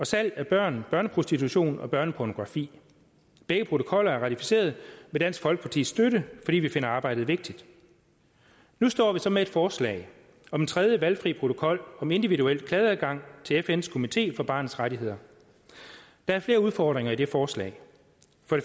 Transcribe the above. salg af børn børneprostitution og børnepornografi begge protokoller er ratificeret med dansk folkepartis støtte fordi vi finder arbejdet vigtigt nu står vi så med et forslag om en tredje valgfri protokol om individuel klageadgang til fns komité for barnets rettigheder der er flere udfordringer i det forslag